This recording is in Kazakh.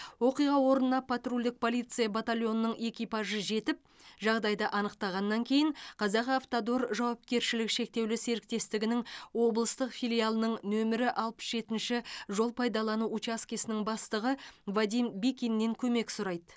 оқиға орнына патрульдік полиция батальонының экипажы жетіп жағдайды анықтағаннан кейін казахавтодор жауапкершілігі шектеулі серіктестігінің облыстық филиалының нөмірі алпыс жетінші жол пайдалану учаскесінің бастығы вадим бикиннен көмек сұрайды